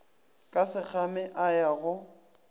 ka sekgame a ya go